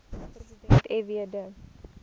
president fw de